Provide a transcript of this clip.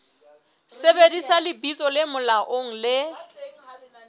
sebedisa lebitso le molaong le